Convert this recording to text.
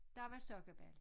Dér var sokkabal